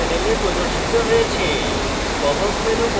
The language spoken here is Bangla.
popup menu panel প্রদর্শিত হয়েছে